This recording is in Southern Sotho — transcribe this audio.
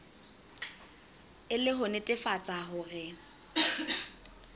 e le ho netefatsa hore